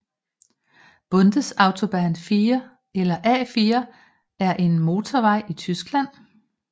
Bundesautobahn 4 eller A 4 er en motorvej i Tyskland